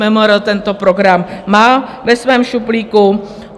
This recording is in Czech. MMR tento program má ve svém šuplíku.